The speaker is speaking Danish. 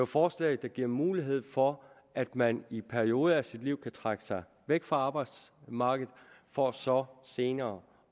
forslag der giver mulighed for at man i perioder af sit liv kan trække sig væk fra arbejdsmarkedet for så senere